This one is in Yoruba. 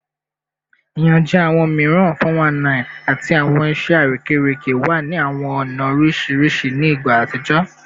Iyanjẹ awọn miiran (419) ati awọn iṣẹ arekereke wa ni awọn ọna oriṣiriṣi ni igba atijọ